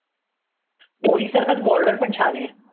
उरी सारखाचं border पण छान आहे.